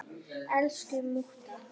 Elsku mútta.